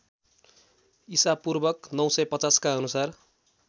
ईपू ९५० का अनुसार